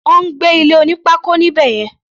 Ó ń gbé ilé oní pákó níbẹ̀ yẹn.